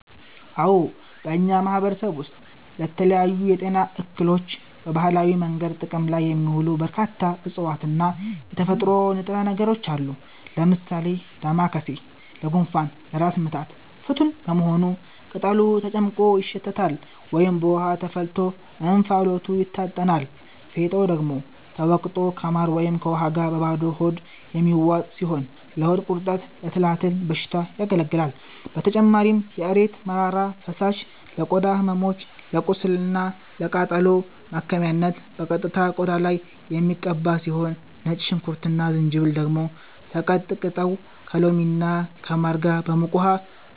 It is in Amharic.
አዎ፣ በእኛ ማህበረሰብ ውስጥ ለተለያዩ የጤና እክሎች በባህላዊ መንገድ ጥቅም ላይ የሚውሉ በርካታ እፅዋትና የተፈጥሮ ንጥረ ነገሮች አሉ። ለምሳሌ ዳማከሴ ለጉንፋንና ለራስ ምታት ፍቱን በመሆኑ ቅጠሉ ተጨፍልቆ ይሸተታል ወይም በውሃ ተፈልቶ እንፋሎቱ ይታጠናል፤ ፌጦ ደግሞ ተወቅጦ ከማር ወይም ከውሃ ጋር በባዶ ሆድ የሚዋጥ ሲሆን ለሆድ ቁርጠትና ለትላትል በሽታ ያገለግላል። በተጨማሪም የእሬት መራራ ፈሳሽ ለቆዳ ህመሞች፣ ለቁስልና ለቃጠሎ ማከሚያነት በቀጥታ ቆዳ ላይ የሚቀባ ሲሆን፣ ነጭ ሽንኩርትና ዝንጅብል ደግሞ ተቀጥቅጠው ከሎሚና ከማር ጋር በሙቅ ውሃ